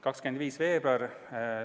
25. veebruar.